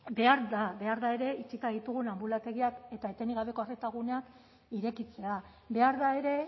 behar da behar da ere itxita ditugun anbulategiak eta etenik gabeko arreta guneak irekitzea behar da ere